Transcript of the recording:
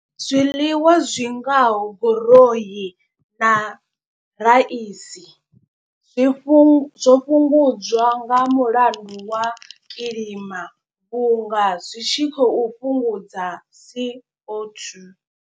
Zwiḽiwa zwi ngaho goroi na raisi zwi fhungudza zwo fhungudzwa nga mulandu wa kilima. Vhunga zwi tshi khou fhungudza C_O two.